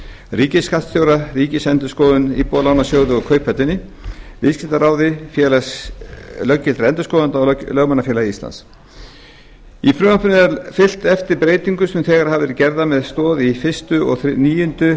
ríkisskattstjóra ríkisendurskoðun íbúðalánasjóði kauphöllinni viðskiptaráði félagi löggiltra endurskoðenda og lögmannafélagi íslands í frumvarpinu er fylgt eftir breytingum sem þegar hafa verið gerðar með stoð í fyrsta og níundu